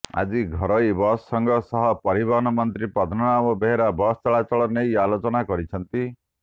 ଆଜି ଘରୋଇ ବସ୍ ସଂଘ ସହ ପରିବହନ ମନ୍ତ୍ରୀ ପଦ୍ମନାଭ ବେହେରା ବସ୍ ଚଳାଚଳ ନେଇ ଆଲୋଚନା କରିଛନ୍ତି